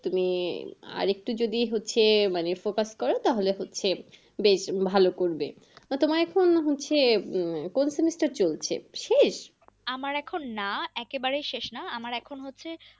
তুমি আর একটু যদি হচ্ছে focus করো বেশ তাহলে হচ্ছে, বেশ ভালো করবে তোমার এখন হচ্ছে, কোন semester চলছে। শেষ, আমার এখন না, একেবারে শেষ না আমার এখন হচ্ছে